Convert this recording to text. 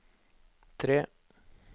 tre